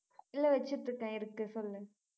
இல்ல வச்சிட்டிருக்கேன் இருக்கு சொல்லு